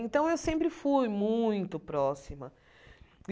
Então, eu sempre fui muito próxima.